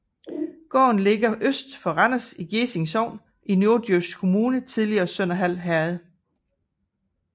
Gården ligger øst for Randers i Gjesing Sogn i Norddjurs Kommune tidligere Sønderhald Herred